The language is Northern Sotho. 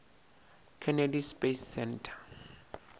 kennedy space center